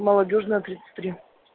молодёжная тридцать три